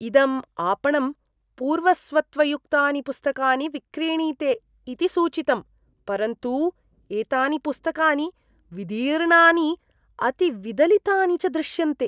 इदं आपणम् पूर्वस्वत्वयुक्तानि पुस्तकानि विक्रीणीते इति सूचितम्, परन्तु एतानि पुस्तकानि विदीर्णानि, अतिविदलितानि च दृश्यन्ते।